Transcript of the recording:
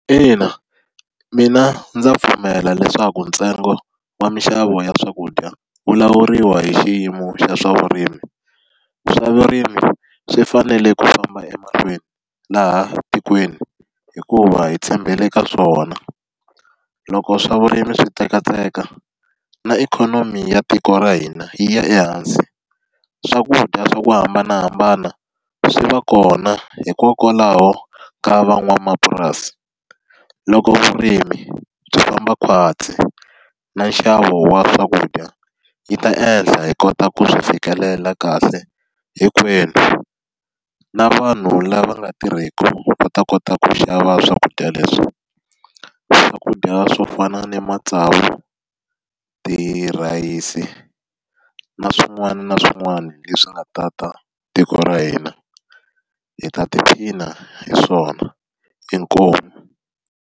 Ina, mina ndza pfumela leswaku ntsengo wa minxavo ya swakudya wu lawuriwa hi xiyimo xa swavurimi. Swa vurimi swi fanele ku famba emahlweni laha tikweni hikuva hi tshembele ka swona, loko swavurimi swi tsekatseka na ikhonomi ya tiko ra hina yi ya ehansi. Swakudya swa ku hambanahambana swi va kona hikokwalaho ka van'wamapurasi. Loko vurimi byi famba khwatsi, na nxavo wa swakudya wu ta ehla hi kota ku swi fikelela kahle hinkwenu. Na vanhu lava nga tirheki va ta kota ku xava swakudya leswi. Swakudya swo fana na matsavu, tirhayisi, na swin'wana na swin'wana leswi nga tata tiko ra hina, hi ta tiphina hi swona. Inkomu.